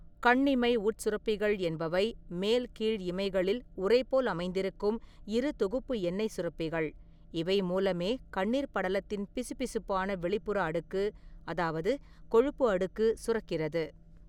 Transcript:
கண்ணிமை உட்சுரப்பிகள் என்பவை மேல், கீழ் இமைகளில் உறை போல் அமைந்திருக்கும் இரு தொகுப்பு எண்ணெய்ச் சுரப்பிகள், இவை மூலமே கண்ணீர் படலத்தின் பிசுபிசுப்பான வெளிப்புற அடுக்கு, அதாவது கொழுப்பு அடுக்கு, சுரக்கிறது.